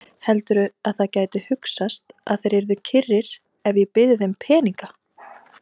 Heldurðu að það gæti hugsast að þeir yrðu kyrrir ef ég byði þeim peninga?